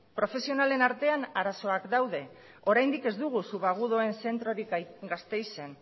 profesionalen artean arazoak daude oraindik ez dugu subagudoen zentrorik gasteizen